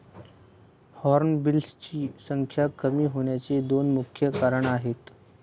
हॉर्नबिल्सची संख्या कमी होण्याची दोन मुख्य कारणं आहेत.